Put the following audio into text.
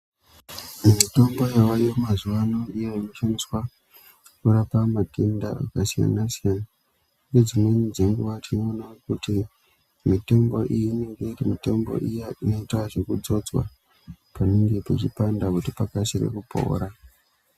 Mitombo yavako mazuva anaya inoshandiswa kurapa matenda akasiyana siyana , ngedzimweni dzenguva tinoone kuti mitombo iyi inenge iri mitombo inoita zvekudzodzwa panenge pechipanda kuti pakasire kupora.